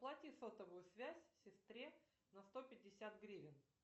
оплати сотовую связь сестре на сто пятьдесят гривен